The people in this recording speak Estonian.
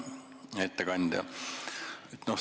Hea ettekandja!